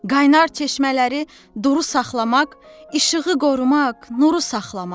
Qaynar çeşmələri duru saxlamaq, işığı qorumaq, nuru saxlamaq.